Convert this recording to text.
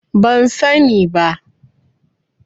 Ban sani ba.